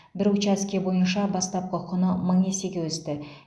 бір учаске бойынша бастапқы құны мың есеге өсті